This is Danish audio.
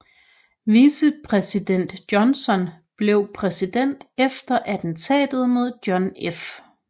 Vicepræsident Johnson blev præsident efter attentatet mod John F